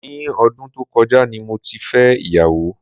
Ní ọdún tó kọjá ni mo ti fẹ́ ìyàwó.